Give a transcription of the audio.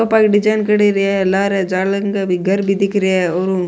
ऊपर डिजाइन क्रेड़ी है लार घर भी दिख रिया है ओरु --